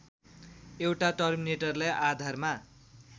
एउटा टर्मिनेटरलाई आधारमा